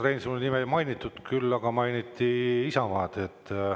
Urmas Reinsalu nime ei mainitud, küll aga mainiti Isamaad.